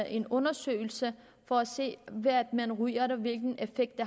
en undersøgelse for at se hvad det er man ryger og hvilken effekt